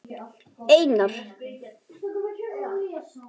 Einar, ég er sonur. hans.